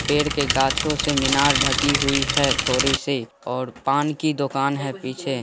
पेड़ के गाछो से मीनार ढकी हुई है थोड़ी-सी और पान की दोकान है पीछे--